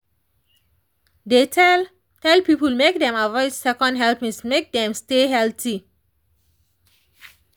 dey tell tell people make dem avoid second helpings make dem stay healthy.